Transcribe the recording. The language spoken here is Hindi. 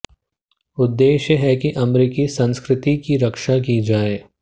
उद्देश्य है कि अमेरिकी संस्कृति की रक्षा की जाये